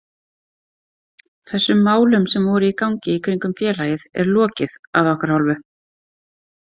Þessum málum sem voru í gangi í kringum félagið er lokið að okkar hálfu.